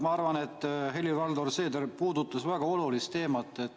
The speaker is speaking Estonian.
Ma arvan, et Helir-Valdor Seeder puudutas väga olulist teemat.